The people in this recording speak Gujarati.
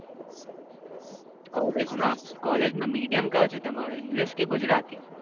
College માં medium કયો છે તમારો english કે ગુજરાતી